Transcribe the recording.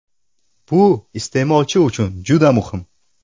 Bu iste’molchi uchun juda muhim.